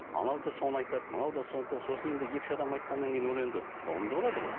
анау да соны айтады мынау да сосын енді екі үш адам айтқаннан кейін ол енді ұғымды болады ғой